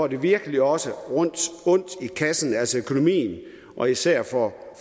at jeg virkelig også får ondt i kassen altså økonomien og især for